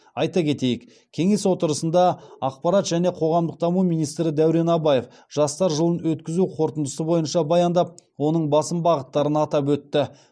айта кетейік кеңес отырысында ақпарат және қоғамдық даму министрі дәурен абаев жастар жылын өткізу қорытындысы бойынша баяндап оның басым бағыттарын атап өтті